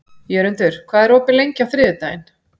Jörundur, hvað er opið lengi á þriðjudaginn?